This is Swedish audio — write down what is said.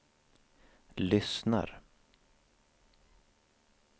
lyssnar